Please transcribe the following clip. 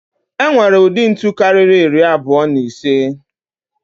E nwere ụdị ntu karịrị iri abụọ na ise.